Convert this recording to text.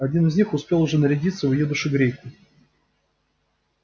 один из них успел уже нарядиться в её душегрейку